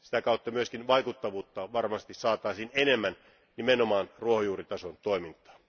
Sitä kautta myös vaikuttavuutta varmasti saataisiin enemmän nimenomaan ruohonjuuritason toimintaan.